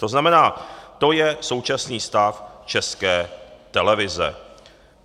To znamená, to je současný stav České televize.